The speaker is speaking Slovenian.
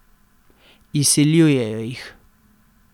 Izsiljujejo jih.